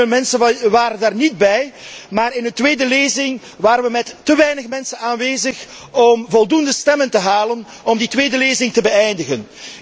Heel veel mensen waren daar niet bij, maar in de tweede lezing waren wij met te weinig mensen aanwezig om voldoende stemmen te halen om die tweede lezing te kunnen beëindigen.